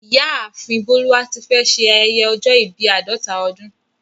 Ìyáàfin Boluwatífẹ̀ ṣè ayẹyẹ ọ̀jọ̀ ìbí àdọta ọdún